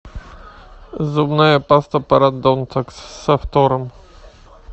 зубная паста парадонтакс со фтором